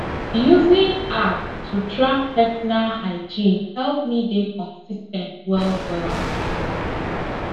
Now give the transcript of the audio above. using app to track personal hygiene help me dey consis ten t well well